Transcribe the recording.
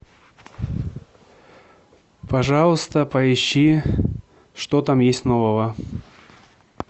пожалуйста поищи что там есть нового